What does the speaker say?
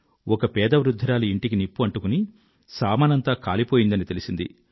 ఒక పేద వృద్ధురాలి ఇంటికి నిప్పు అంటుకుని సామానంతా కాలిపోయిందని తెలిసింది